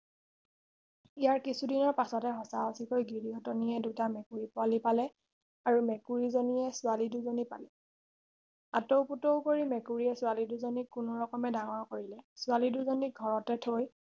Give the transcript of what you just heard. ইয়াৰ কিছুদিনৰ পাছতে সঁচা সচিকৈ গিৰিহঁতনীয়ে দুটা মেকুৰী পোৱালী পালে আৰু মেকুৰী জনীয়ে ছোৱালী দুজনি পালে আটৌও পুটৌও কৰি মেকুৰী জনীয়ে ছোৱালী দুজনিক কোনোৰকমে ডাঙৰ কৰিলে ছোৱালী দুজনিক ঘৰতে থৈ